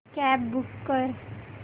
cab book कर